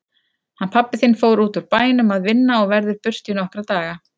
Hann pabbi þinn fór útúr bænum að vinna og verður burtu í nokkra daga.